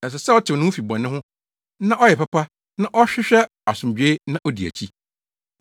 Ɛsɛ sɛ ɔtew ne ho fi bɔne ho na ɔyɛ papa na ɔhwehwɛ asomdwoe na odi akyi.